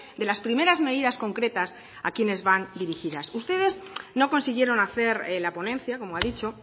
de las primeras medidas concretas a quienes van dirigidas ustedes no consiguieron hacer la ponencia como ha dicho